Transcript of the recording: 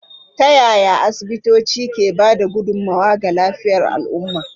Ta yaya asibitoci ke ba da gudummawa ga lafiyar al'umma?